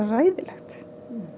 hræðilegt